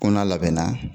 Ko n'a labɛnna